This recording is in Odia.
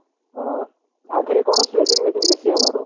ହଁ ଆଧିରେ କଣ ବେଶି ହବାର